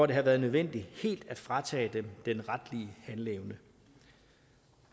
det har været nødvendigt helt at fratage den retlige handleevne